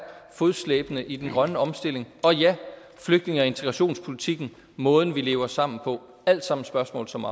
fodslæbende i den grønne omstilling og ja flygtninge og integrationspolitikken måden vi lever sammen på det alt sammen spørgsmål som